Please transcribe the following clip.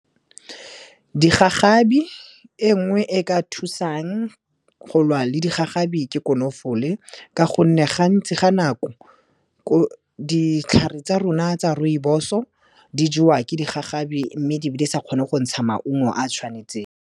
Digagabi e nngwe e ka thusang go lwa le digagabi ke konofole, ka gonne gantsi ga nako, ditlhare tsa rona tsa rooibos-o di jewa ke digagabi, mme di be di sa kgone go ntsha maungo a tshwanetseng.